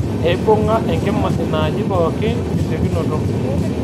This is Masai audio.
Eibung'a enkima inaaji pookin tesiokinoto